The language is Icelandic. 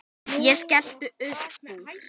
Ég skellti uppúr.